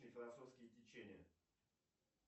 философские течения